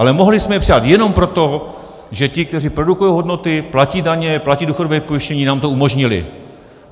Ale mohli jsme je přidat jenom proto, že ti, kteří produkují hodnoty, platí daně, platí důchodové pojištění, nám to umožnili.